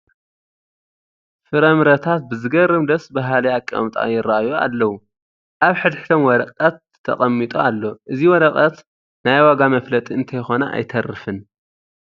ፍረ ምረታት ብዘግርም ደስ በሃሊ ኣቐማምጣ ይርአዩ ኣለው፡፡ ኣብ ሕድ ሕዶም ወረቐት ተቐሚጡ ኣሎ፡፡ እዚ ወረቐት ናይ ዋጋ መፍለጢ እንተይኮነ ኣይተርፍን፡፡